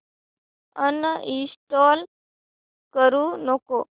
uninstall करू नको